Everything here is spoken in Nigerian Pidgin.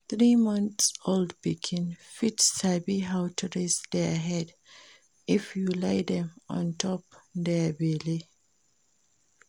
Three months old pikin fit sabi how to raise their head if you lie them on top their belle